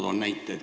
Ma toon näite.